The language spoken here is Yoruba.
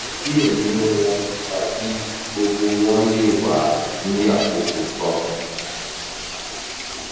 diẹ ninu wọn tabi gbogbo wọn le wa ni akoko kan